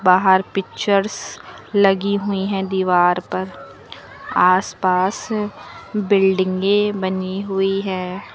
बाहर पिक्चर्स लगी हुई है दीवार पर आस पास बिल्डिंगे बनी हुई है।